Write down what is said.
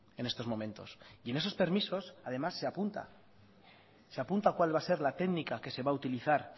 en estos momentos y en esos permisos además se apunta se apunta cuál va a ser la técnica que se va a utilizar